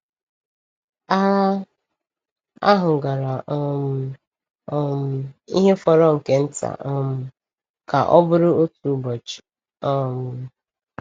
Agha ahụ gara um um ihe fọrọ nke nta um ka ọ bụrụ otu ụbọchị. um